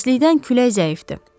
Təəssüfləndi, külək zəifdir.